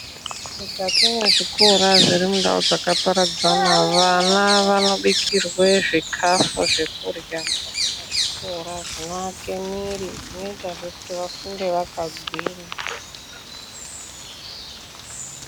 Mukati mwezvikora zviri mundau dzakaparadzana, vana vanobikirwe zvikhafu zvekurya mukati mwezvikora, zvinoake mwiiri. Zvinoitazve kuti vafunde vakagwinya.